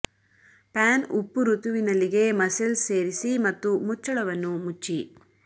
PAN ಉಪ್ಪು ಋತುವಿನಲ್ಲಿ ಗೆ ಮಸ್ಸೆಲ್ಸ್ ಸೇರಿಸಿ ಮತ್ತು ಮುಚ್ಚಳವನ್ನು ಮುಚ್ಚಿ